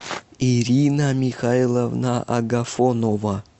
ирина михайловна агафонова